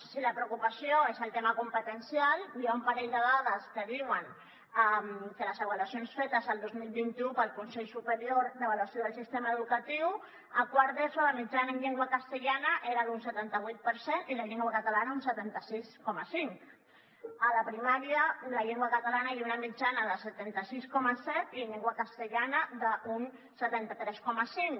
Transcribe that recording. si la preocupació és el tema competencial hi ha un parell de dades que diuen que en les avaluacions fetes el dos mil vint u pel consell superior d’avaluació del sistema educatiu a quart d’eso la mitjana en llengua castellana era d’un setanta vuit per cent i en llengua catalana d’un setanta sis coma cinc a la primària en llengua catalana hi ha una mitjana de setanta sis coma set i en llengua castellana d’un setanta tres coma cinc